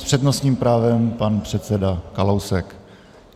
S přednostním právem pan předseda Kalousek.